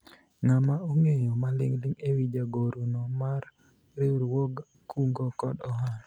ng'ama ong'eyo maling'ling' ewi jagoro no mar riwruog kungo kod hola ?